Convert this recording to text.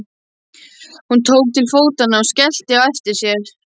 Hún tók til fótanna og skellti á eftir sér.